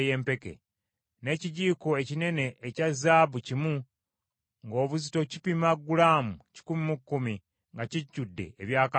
n’ekijiiko ekinene ekya zaabu kimu ng’obuzito kipima gulaamu kikumi mu kkumi, nga kijjudde ebyakaloosa;